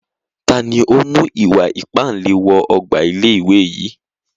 Taàní ó mú ìwà ìpánle wọ ọgbà ilé ìwé yìí?